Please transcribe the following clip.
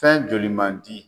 Fɛn joli mandi.